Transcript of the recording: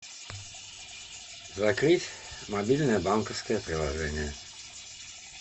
закрыть мобильное банковское приложение